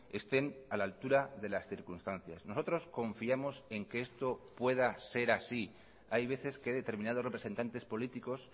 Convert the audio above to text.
estén a la altura de las circunstancias nosotros confiamos en que esto pueda ser así hay veces que determinados representantes políticos